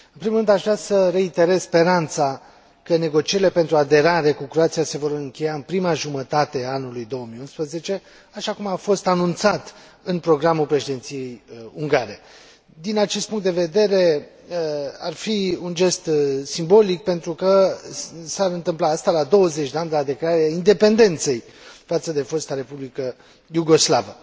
În primul rând, aș vrea să reiterez speranța că negocierile pentru aderare cu Croația se vor încheia în prima jumătate a anului 2011, așa cum a fost anunțat în programul președinției ungare. Din acest punct de vedere, ar fi un gest simbolic pentru că s ar întâmpla asta la 20 de ani de la declararea independenței față de fosta Republică Iugoslavă.